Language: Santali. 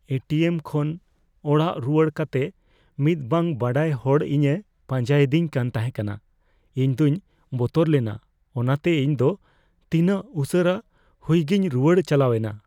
ᱮ ᱴᱤ ᱮᱢ ᱠᱷᱚᱱ ᱚᱲᱟᱜ ᱨᱩᱣᱟᱹᱲ ᱠᱟᱛᱮᱫ ᱢᱤᱫ ᱵᱟᱝ ᱵᱟᱰᱟᱭ ᱦᱚᱲ ᱤᱧᱮ ᱯᱟᱸᱡᱟᱭᱮᱫᱤᱧ ᱠᱟᱱ ᱛᱟᱦᱮᱠᱟᱱᱟ ᱾ ᱤᱧ ᱫᱚᱧ ᱵᱚᱛᱚᱨ ᱞᱮᱱᱟ ᱚᱱᱟᱛᱮ ᱤᱧ ᱫᱚ ᱛᱤᱱᱟᱹᱜ ᱩᱥᱟᱹᱨᱟ ᱦᱩᱭᱩᱜᱤᱧ ᱨᱩᱣᱟᱹᱲ ᱪᱟᱞᱟᱣᱮᱱᱟ ᱾